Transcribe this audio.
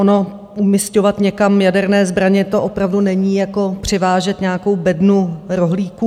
Ono umisťovat někam jaderné zbraně, to opravdu není jako převážet nějakou bednu rohlíků.